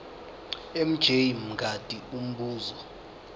mj mngadi umbuzo